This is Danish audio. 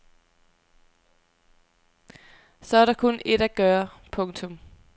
Så er der kun ét at gøre. punktum